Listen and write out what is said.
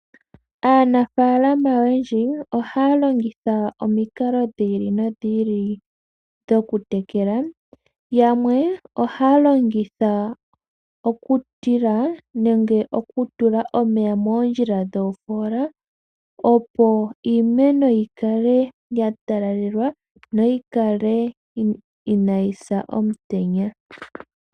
Aanafalama oyendji ohaya longitha omikalo dhi ili nodhi ili dhoku tekela. Yamwe ohaya longitha okutila nenge okutula omeya moondjila dhofoola, opo iimeno yikale ya talalelwa yo yi kale inayi sa omutenya.